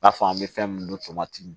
I n'a fɔ an bɛ fɛn minnu tomati